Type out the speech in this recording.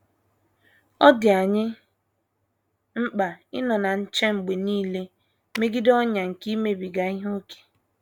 Ọ dị anyị mkpa ịnọ na nche mgbe nile megide ọnyà nke imebiga ihe ókè.